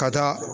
Ka taa